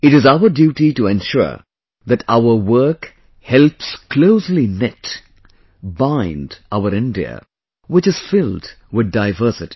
It is our duty to ensure that our work helps closely knit, bind our India which is filled with diversity